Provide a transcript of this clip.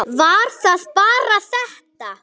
Var það bara þetta?